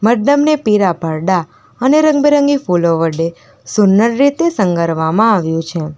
મંડપને પીળા પડદા અને રંગરંગી ફૂલો વડે સુંદર રીતે સંગારવામાં આવ્યું છે.